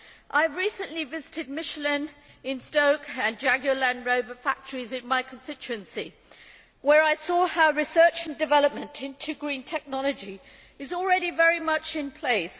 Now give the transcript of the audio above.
I recently visited Michelin in Stoke and Jaguar Land Rover factories in my constituency, where I saw how research and development into green technology is already very much in place.